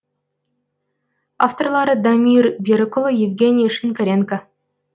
авторлары дамир берікұлы евгений шинкаренко